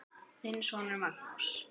Þinn sonur Magnús.